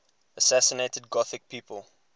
assassinated gothic people